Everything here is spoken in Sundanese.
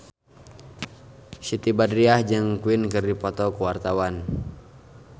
Siti Badriah jeung Queen keur dipoto ku wartawan